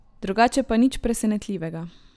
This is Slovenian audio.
Drugače pa nič presenetljivega.